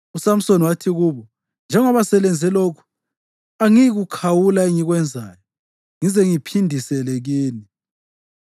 USamsoni wathi kubo, “Njengoba selenze lokhu, angiyikukhawula engikwenzayo ngize ngiphindisele kini.”